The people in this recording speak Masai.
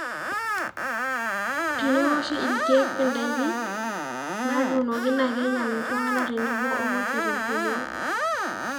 tenewoshi ilkiek indaiki naatunoki naa keinyal iltungana tenebo o nguesi tenkumoi